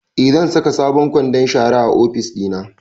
Eh, zan saka sabon kwandon shara a ofis ɗina